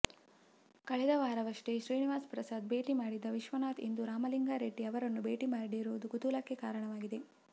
ಕಳೆದ ವಾರವಷ್ಟೇ ಶ್ರೀನಿವಾಸ್ ಪ್ರಸಾದ್ ಭೇಟಿ ಮಾಡಿದ್ದ ವಿಶ್ವನಾಥ್ ಇಂದು ರಾಮಲಿಂಗಾರೆಡ್ಡಿ ಅವರನ್ನು ಭೇಟಿ ಮಾಡಿರುವುದು ಕುತೂಹಲಕ್ಕೆ ಕಾರಣವಾಗಿದೆ